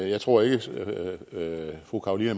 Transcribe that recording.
jeg tror ikke at fru carolina